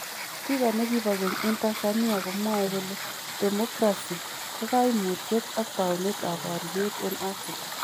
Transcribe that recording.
Spikaa nekibo keny en Tz komwae kole demokrasii ko kaimutyet ak taunet ab baryeet en Afrika